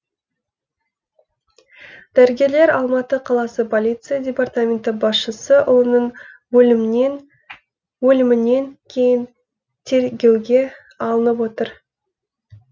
дәрігерлер алматы қаласы полиция департаменті басшысы ұлының өлімінен кейін тергеуге алынып отыр